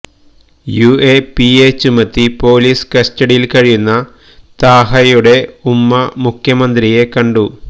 UAPA ചുമത്തി police കസ്റ്റഡിയിൽ കഴിയുന്ന താഹയുടെ ഉമ്മ മുഖ്യമന്ത്രിയെ കണ്ടു